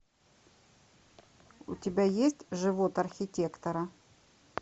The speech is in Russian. у тебя есть живот архитектора